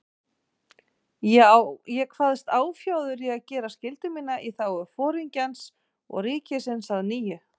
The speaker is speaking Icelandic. Ég kvaðst áfjáður í að gera skyldu mína í þágu Foringjans og ríkisins að nýju.